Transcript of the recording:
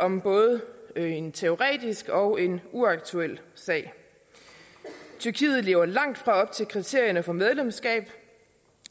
om både en teoretisk og en uaktuel sag tyrkiet lever langtfra op til kriterierne for medlemskab